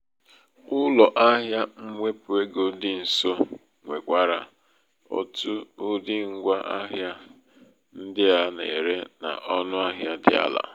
ụlọ ahìa mwepụ ego dị nso nwekwara otu ụdị́ ngwa ahịa ndị a na-ere n' ọnụ ahịa dị ala.